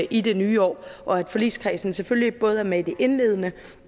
i det nye år og at forligskredsen selvfølgelig både er med i det indledende